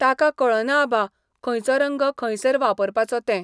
ताका कळना आबा, खंयचो रंग खंयसर वापरपाचो तें.